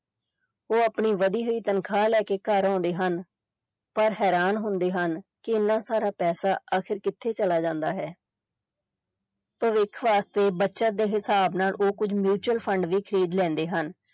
ਉਹ ਆਪਣੀ ਵਧੀ ਹੋਈ ਤਨਖਾਹ ਲੈ ਕੇ ਘਰ ਆਉਂਦੇ ਹਨ ਪਰ ਹੈਰਾਨ ਹੁੰਦੇ ਹਨ ਕਿ ਇੰਨਾ ਸਾਰਾ ਪੈਸਾ ਆਖਿਰ ਕਿੱਥੇ ਚਲਾ ਜਾਂਦਾ ਹੈ ਭਵਿੱਖ ਵਾਸਤੇ ਬੱਚਤ ਦੇ ਹਿਸਾਬ ਨਾਲ ਉਹ ਕੁੱਝ mutual fund ਵੀ ਖ਼ਰੀਦ ਲੈਂਦੇ ਹਨ।